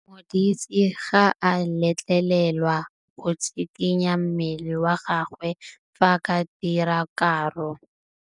Modise ga a letlelelwa go tshikinya mmele wa gagwe fa ba dira karô.